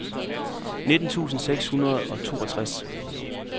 nitten tusind seks hundrede og toogtres